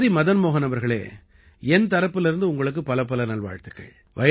சரி மதன் மோஹன் அவர்களே என் தரப்பிலிருந்து உங்களுக்குப் பலப்பல நல்வாழ்த்துக்கள்